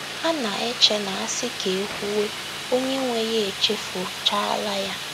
Ha na - eche na a sị ka e kwuwe, onye nwe ya echefuchaala ya.